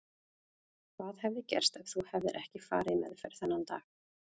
Hvað hefði gerst ef þú hefðir ekki farið í meðferð þennan dag?